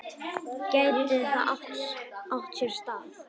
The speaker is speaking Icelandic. Gæti það átt sér stað?